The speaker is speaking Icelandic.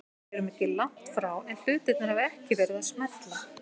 Við erum ekki langt frá en hlutirnir hafa ekki verið að smella.